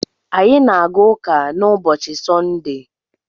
Anyị na-aga ụka na ubochi Sọnde